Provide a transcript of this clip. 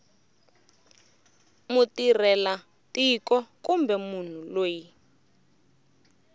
mutirhela tiko kumbe munhu loyi